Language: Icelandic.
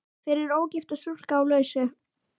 Fyrir ógifta stúlku á lausu.